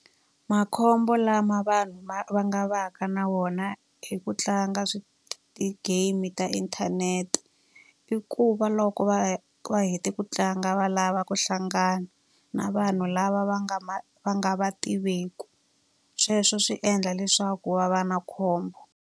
Makhombo lama vanhu va nga va ka na wona hi ku tlanga ti-game ta inthanete, i ku va loko va va va hete ku tlanga va lava ku hlangana na vanhu lava va nga va nga va tiveki. Sweswo swi endla leswaku va va na khombo.